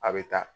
A bɛ taa